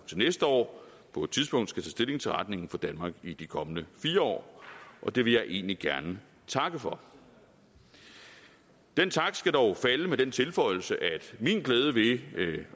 til næste år på et tidspunkt skal tage stilling til retningen for danmark i de kommende fire år og det vil jeg egentlig gerne takke for den tak skal dog falde med den tilføjelse at min glæde ved at følge